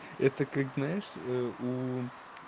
это как знаешь у